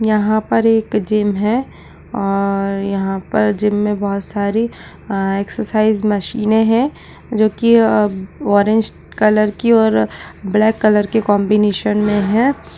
यहाँ पर एक जिम है और यहाँ पर जिम में बहोत सारी अ एक्सरसाइज मशीनें हैं | जो कि अ ऑरेंज कलर की और ब्लैक कलर के कॉम्बिनेशन में हैं।